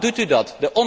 Waarom doet u dat?